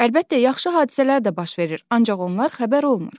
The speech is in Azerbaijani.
Əlbəttə, yaxşı hadisələr də baş verir, ancaq onlar xəbər olmur.